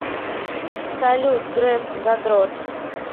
салют греф задрот